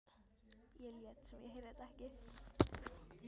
Ég lét sem ég heyrði þetta ekki.